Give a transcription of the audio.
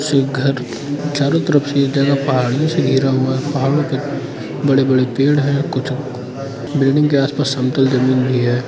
एक घर चारों तरफ़ ये जगह पहाड़ियों से घिरा हुआ है। पहाड़ों पे बड़े-बड़े पेड़ हैं। कुछ बिल्डिंग के आसपास समतल जमीन भी है।